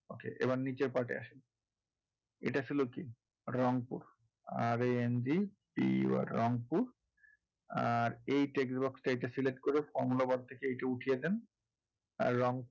আচ্ছা এবার নীচের part এ আসি, এটা আসলে কী Rangpur R A N G P U R Rangpur আর এই text box এ এটা select করে formula bar থেকে এইটা উঠিয়ে দেন আর রং,